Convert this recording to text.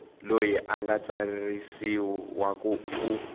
loyi a nga tsarisiwa u